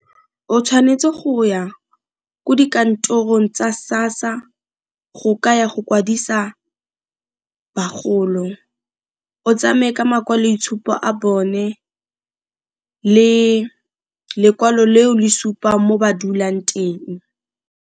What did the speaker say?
O tshwanetse go ya ko dikantorong tsa SASSA go ka ya go kwadisa bagolo. O tsamaye ka makwaloitshupo a bone le lekwalo le o le supang mo ba dulang teng.